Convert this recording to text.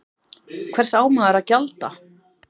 Hvers á maður að gjalda?